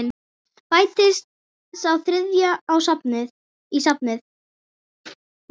Bætist sá þriðji í safnið?